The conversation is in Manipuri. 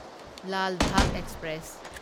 ꯂꯥꯜ ꯕꯥꯚ ꯑꯦꯛꯁꯄ꯭ꯔꯦꯁ